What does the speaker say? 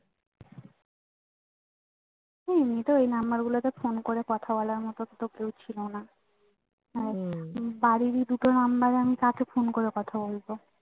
হম তো এই number গুলোতে phone করে কথা বলার মতো তো কেউ ছিল না বাড়ির এই দুটো number এ আমি কাকে phone করে কথা বলবো